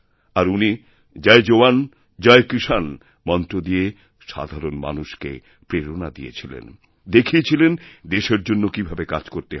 আর উনি জয় জওয়ান জয়কিষাণ মন্ত্র দিয়ে সাধারণ মানুষকে প্রেরণা দিয়েছিলেন দেখিয়েছিলেন দেশের জন্যকীভাবে কাজ করতে হয়